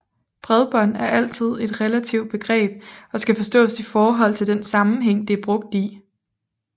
Bredbånd er altid et relativt begreb og skal forstås i forhold til den sammenhæng det er brugt i